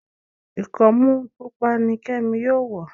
ikọmu pupa ní kemi yóò wọ.